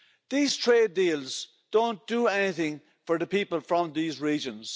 These trade deals don't do anything for the people from these regions.